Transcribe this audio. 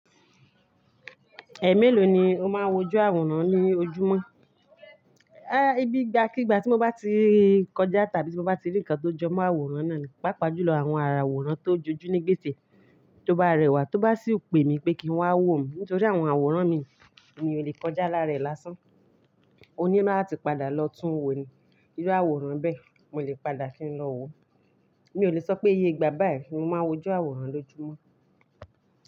Ẹ mélòó ni o máa ń wojú àwòrán ní ojúmọ́? Bí, igbà kí ìgbà tí mo bá ti kọjá tàbí tí mo bá ti rí ǹkan tó jọmọ́ àwòrán náà ni, pàápàá ju lọ àwọn àwòrán tó jójú ní gbèsè tó bá rẹwà tó bá sì pè mi pé kí n wá wò óun nítorí àwọn àwòrán mi, eeyan ò lè kọjá lárárẹ̀ lásán. Mo ní la ti padà lọ tún wo ni. Irú àwòrán bẹ́ẹ̀, mo lè padà kí n lọ wo. Mi ò lè sọ pé iye ìgbà báyìí ni mo máa ń wojú àwòrán lójúmọ́